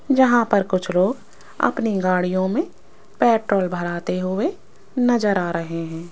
यहां पर कुछ लोग अपनी गाड़ियों में पेट्रोल भराते हुए नजर आ रहे हैं।